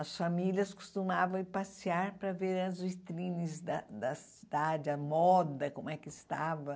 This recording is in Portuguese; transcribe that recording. As famílias costumavam ir passear para ver as vitrines da da cidade, a moda, como é que estava.